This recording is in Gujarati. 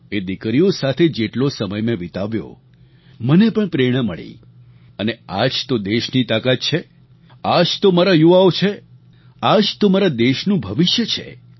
એ દિકરીઓ સાથે જેટલો સમય મેં વિતાવ્યો મને પણ પ્રેરણા મળી અને આ જ તો દેશની તાકાત છે આ જ તો મારા યુવાઓ છે આ જ તો મારા દેશનું ભવિષ્ય છે